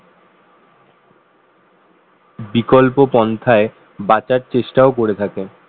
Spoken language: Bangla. বিকল্প পন্থায় বাঁচার চেষ্টাও করে থাকেন